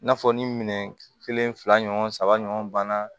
I n'a fɔ ni minɛn kelen fila ɲɔgɔn saba ɲɔgɔn banna